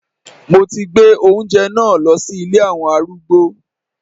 Mo ti gbé oúnjẹ náà lọ sí ilé àwọn arúgbó.